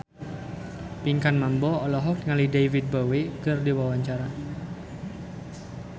Pinkan Mambo olohok ningali David Bowie keur diwawancara